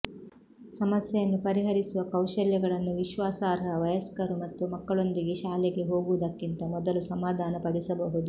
ಸಮಸ್ಯೆಯನ್ನು ಪರಿಹರಿಸುವ ಕೌಶಲ್ಯಗಳನ್ನು ವಿಶ್ವಾಸಾರ್ಹ ವಯಸ್ಕರು ಮತ್ತು ಮಕ್ಕಳೊಂದಿಗೆ ಶಾಲೆಗೆ ಹೋಗುವುದಕ್ಕಿಂತ ಮೊದಲು ಸಮಾಧಾನಪಡಿಸಬಹುದು